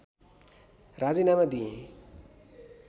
राजीनामा दिएँ